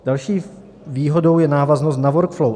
Další výhodou je návaznost na workflow.